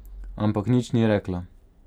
Ampak nič ni rekla.